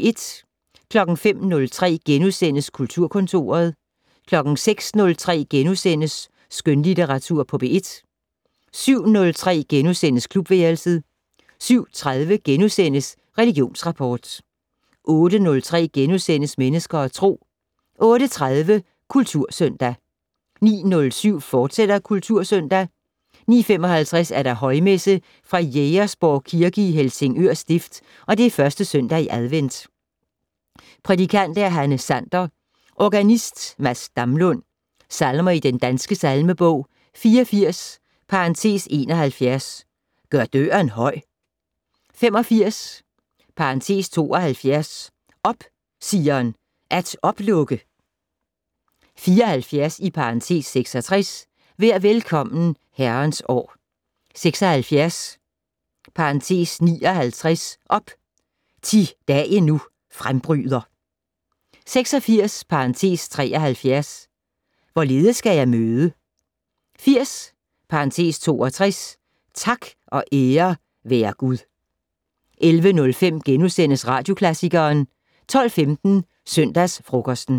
05:03: Kulturkontoret * 06:03: Skønlitteratur på P1 * 07:03: Klubværelset * 07:30: Religionsrapport * 08:03: Mennesker og Tro * 08:30: Kultursøndag 09:07: Kultursøndag, fortsat 09:55: Højmesse - Jægersborg Kirke, Helsingør Stift. 1. søndag i advent. Prædikant: Hanne Sander. Organist: Mads Damlund. Salmer i Den Danske Salmebog: 84 (71) "Gør døren høj". 85 (72) "Op, Sion, at oplukke". 74 (66) "Vær velkommen, Herrens år". 76 (59) "Op, thi dagen nu frembryder". 86 (73) "Hvorledes skal jeg møde". 80 (62) "Tak og ære være Gud". 11:05: Radioklassikeren * 12:15: Søndagsfrokosten